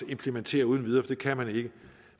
implementere uden videre for det kan man ikke